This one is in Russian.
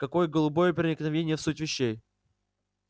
какое глубокое проникновение в суть вещей